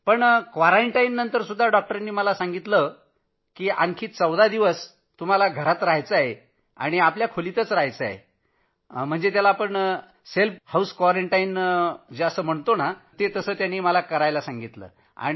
पण क्वारंटाईननंतरसुद्धा डॉक्टरांनी सांगितलं होतं की आणखी 14 दिवस घरातच रहायचं आहे आणि आपल्या खोलीतच रहायचं तसंच स्वतःला घरात कुटुंबापासून वेगळं ठेवायचं अस डॉक्टर बोलले होते